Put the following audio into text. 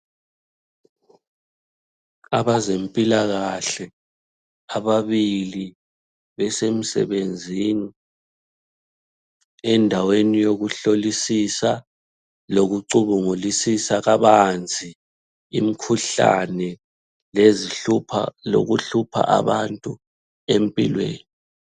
Abezempilakahle ababili besemsebenzini endaweni yokuhlolisisa lokucubungulisisa kabanzi imkhuhlane lokuhlupha abantu empilweni.